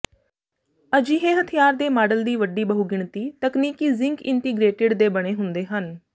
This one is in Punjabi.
ਅਜਿਹੇ ਹਥਿਆਰ ਦੇ ਮਾਡਲ ਦੀ ਵੱਡੀ ਬਹੁਗਿਣਤੀ ਤਕਨੀਕੀ ਜ਼ਿੰਕ ਇੰਟੀਗ੍ਰੇਟਿਡ ਦੇ ਬਣੇ ਹੁੰਦੇ ਹਨ